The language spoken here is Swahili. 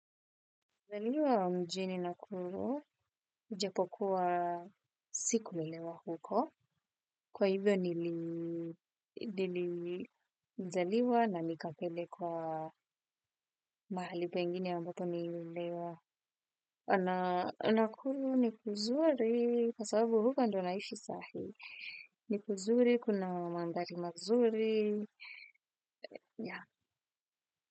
Zaliwa wa mjini na kuru ujapokuwa sikulelewa huko. Kwa hivyo nili nili nilizaliwa na nikapelekwa mahali pengine ambapo nililewa. Nakuru ni kuzuri kw sababu huko ndo naishi sahii. Ni kuzuri, kuna mandari mazuri. Ya.